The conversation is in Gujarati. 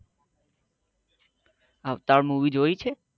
અવતાર મુવી જોયી છે